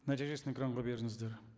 нәтижесін экранға беріңіздер